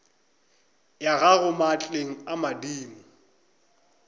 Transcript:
ya gago maatleng a madimo